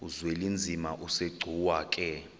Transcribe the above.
uzwelinzima asegcuwa ke